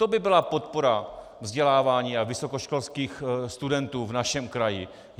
To by byla podpora vzdělávání a vysokoškolských studentů v našem kraji!